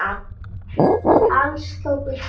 Alls tóku tíu lönd þátt.